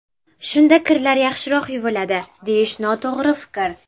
Shunda kirlar yaxshiroq yuviladi, deyish noto‘g‘ri fikr.